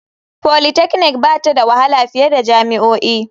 Polytechnic ba ta da wahala fiye da jami'o'i.